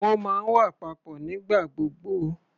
Wọ́n máa ń wà papọ̀ nígbà gbogbo.